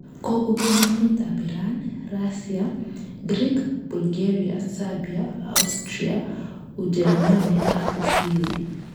Kokobun emet ab Iran, Rasia, Grik, Bulgaria, Serbia, Austria, Ujerimani ak Uswizi